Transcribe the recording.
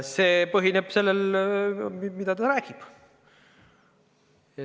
See põhineb sellel, mida ta räägib.